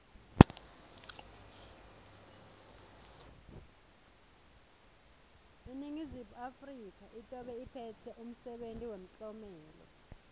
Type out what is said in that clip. iningizimu afrika itobe iphetse umsebenti wemtlomelo